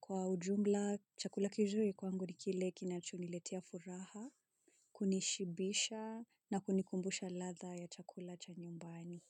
Kwa ujumla chakula kizuri kwangu ni kile kinachoniletea furaha, kunishibisha na kunikumbusha ladha ya chakula cha nyumbani.